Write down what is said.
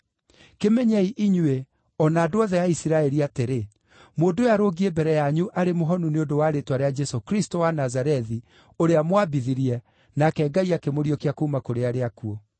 kĩmenyei inyuĩ, o na andũ othe a Isiraeli atĩrĩ: Mũndũ ũyũ arũngiĩ mbere yanyu arĩ mũhonu nĩ ũndũ wa rĩĩtwa rĩa Jesũ Kristũ wa Nazarethi, ũrĩa mwambithirie, nake Ngai akĩmũriũkia kuuma kũrĩ arĩa akuũ.